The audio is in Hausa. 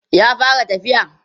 ya fara tafiya?